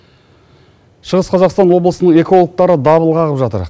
шығыс қазақстан облысының экологтары дабыл қағып жатыр